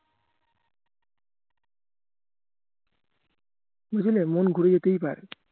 মন ঘুরে যেতেই পারে